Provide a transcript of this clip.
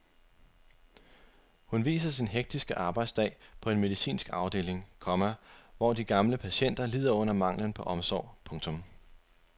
Hun viser sin hektiske arbejdsdag på en medicinsk afdeling, komma hvor de gamle patienter lider under manglen på omsorg. punktum